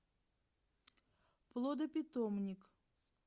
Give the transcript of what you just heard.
плодопитомник